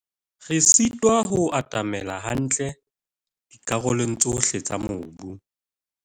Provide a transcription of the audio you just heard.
Re sitwa ho atamela hantle dikarolong tsohle tsa mobu.